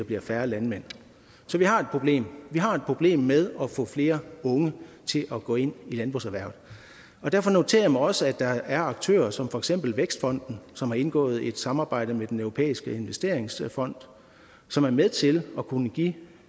bliver færre landmænd så vi har et problem vi har et problem med at få flere unge til at gå ind i landbrugserhvervet derfor noterer jeg mig også at der er aktører som for eksempel vækstfonden som har indgået et samarbejde med den europæiske investeringsfond som er med til at kunne give